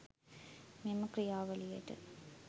මේම ක්‍රියාවලියට